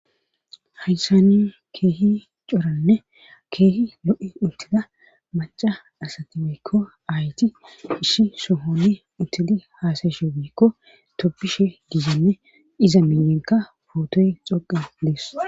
hayssani keehi coranne keehi lo'i uttida maca asati woykko aayti issi sohoni uttidi haasayishe woykko toobishe giyanne iza minyenka pootoy xoqa dees.